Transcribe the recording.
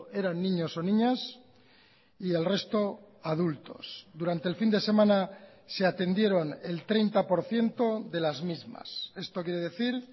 eran niños o niñas y el resto adultos durante el fin de semana se atendieron el treinta por ciento de las mismas esto quiere decir